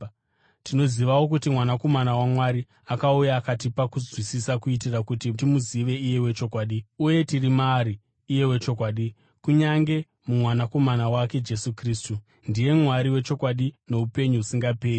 Tinozivawo kuti Mwanakomana waMwari akauya akatipa kunzwisisa, kuitira kuti timuzive iye wechokwadi. Uye tiri maari iye wechokwadi, kunyange muMwanakomana wake Jesu Kristu. Ndiye Mwari wechokwadi noupenyu husingaperi.